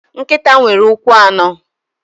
Nkịta nwere ụkwụ anọ.